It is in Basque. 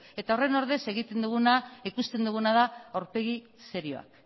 eta horren ordez egiten duguna ikusten duguna da aurpegi serioak